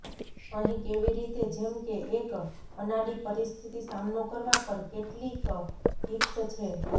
અહીં કેવી રીતે જેમ કે એક અનાડી પરિસ્થિતિ સામનો કરવા પર કેટલીક ટીપ્સ છે